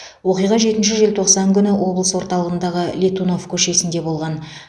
оқиға жетінші желтоқсан күні облыс орталығындағы летунов көшесінде болған